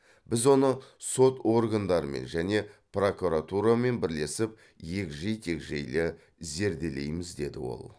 біз оны сот органдарымен және прокуратурамен бірлесіп егжей тегжейлі зерделейміз деді ол